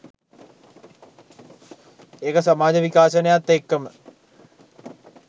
ඒක සමාජ විකාශනයත් එක්කම